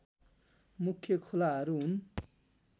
मुख्य खोलाहरू हुन्